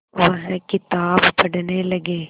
वह किताब पढ़ने लगे